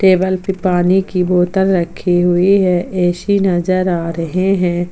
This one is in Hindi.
टेबल पे पानी कि बोतल रखी हुई है एसी नजर आ रहे हैं।